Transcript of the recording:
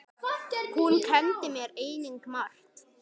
Hún kenndi mér einnig margt.